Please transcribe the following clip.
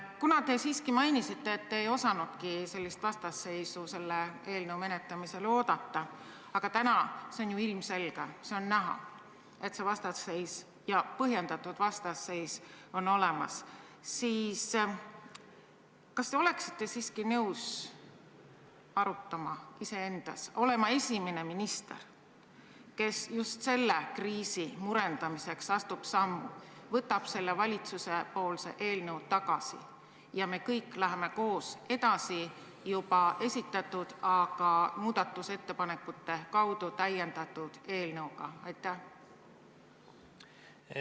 Kuna te siiski mainisite, et te ei osanudki sellist vastasseisu selle eelnõu menetlemisel oodata, aga täna on see ju ilmselge, on näha, et see vastasseis ja põhjendatud vastasseis on olemas, siis kas te oleksite nõus arutama, olema esimene minister, kes just selle kriisi murendamiseks astub sammu, võtab selle valitsuse eelnõu tagasi ja me kõik läheme koos edasi juba esitatud, aga muudatusettepanekute kaudu täiendatud eelnõuga?